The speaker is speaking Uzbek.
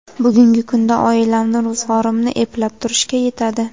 Bugungi kunda oilamni, ro‘zg‘orimni eplab turishga yetadi.